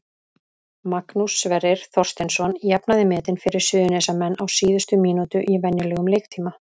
Magnús Sverrir Þorsteinsson jafnaði metin fyrir Suðurnesjamenn á síðustu mínútu í venjulegum leiktíma.